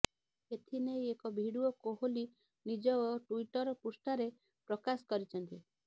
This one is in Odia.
ଏଥିନେଇ ଏକ ଭିଡିଓ କୋହଲି ନିଜ ଟୁଇଟର ପୃଷ୍ଠାରେ ପ୍ରକାଶ କରିଛନ୍ତି